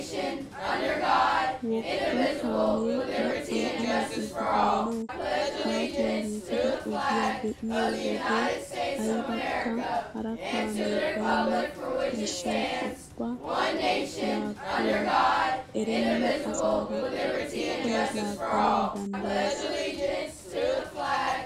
Wogga kaamee la'an allaaxxidi baanawu aahuwaan giigida ogiyaa be'iyoo wode aybaka hara kaamee baynna gishshawu ubba laaguwaa erenna asaara ubbay laagganawu danddayes!